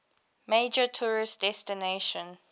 major tourist destination